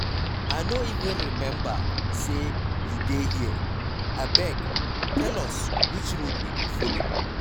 I no even remember say you dey here, abeg tell us which road we go follow.